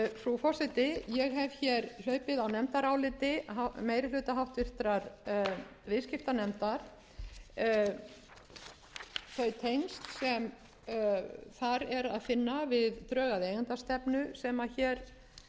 frú forseti ég hef hér hlaupið á nefndaráliti meiri hluta háttvirtur viðskiptanefndar þau tengsl sem þar er að finna við drög að eigendastefnu sem hér var